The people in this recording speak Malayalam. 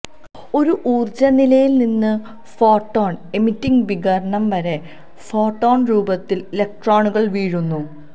ഒരു ഊർജ്ജ നിലയിൽ നിന്ന് ഫോട്ടോൺ എമിറ്റിങ് വികിരണം വരെ ഫോട്ടോൺ രൂപത്തിൽ ഇലക്ട്രോണുകൾ വീഴുന്നു